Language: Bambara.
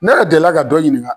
Ne delila ka dɔ ɲininka.